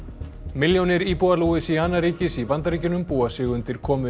milljónir íbúa Louisiana ríkis í Bandaríkjunum búa sig undir komu